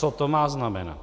Co to má znamenat?